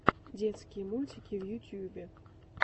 детские мультики в ютубе